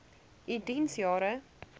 u diens jare